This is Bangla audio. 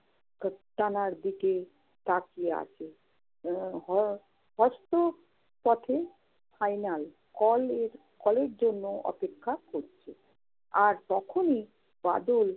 তোপখানার দিকে তাকিয়ে আছে। উম হ~ হস্ত পথে final call এর call এর জন্য অপেক্ষা করছে। আর তখনি বাদল